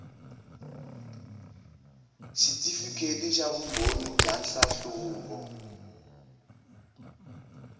xitifikheti xa vumbhoni bya nhlahluvo